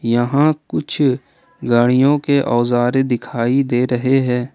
यहां कुछ गाड़ियों के औजारे दिखाई दे रहे हैं।